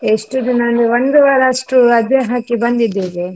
ಎಷ್ಟು ದಿನ ಅಂದ್ರೆ ಒಂದು ವಾರ ಅಷ್ಟು ರಜೆ ಹಾಕಿ ಬಂದಿದ್ದೇವೆ.